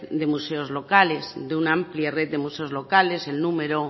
de museos locales de una amplia red de museos locales en número